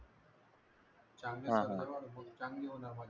चांगले तर चांगली होणार माझी